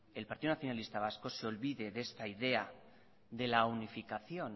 el partido nacionalista vasco se olvide de esta idea de la unificación